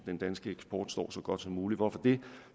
den danske eksport står så godt som muligt hvorfor det